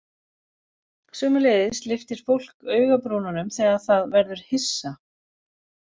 Sömuleiðis lyftir fólk augabrúnunum þegar það verður hissa.